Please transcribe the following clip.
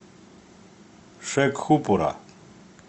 шекхупура